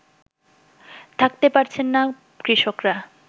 থাকতে পারছেন না কৃষকরা